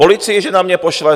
Policii že na mě pošle?